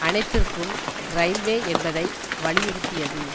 அனைத்திற்கும் இரயில்வே என்பதை வலியுறுத்தியது